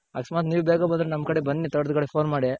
ಅಕಸ್ಮಾತ್ ನೀವ್ ಬೇಗ ಬಂದ್ರೆ ನಮ್ ಕಡೆ ಬನ್ನಿ ತೋಟದ್ ಕಡೆ ಫೋನ್ ಮಾಡಿ